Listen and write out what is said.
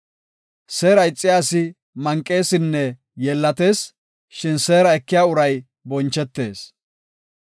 Seera ixiya asi manqeesinne yeellatees; shin seera ekiya uray bonchetees.